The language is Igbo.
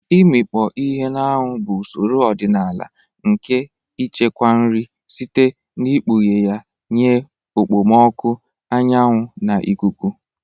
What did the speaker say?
Ịmikpọ ihe na anwụ bụ usoro ọdịnala nke ichekwa nri site n'ikpughe ya nye okpomọkụ anyanwu na ikuku.